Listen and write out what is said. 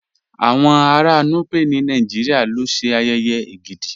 Awọn ara Núpẹ̀ ni Nàìjíríà ló ṣẹ́ ayèyè Ègídì.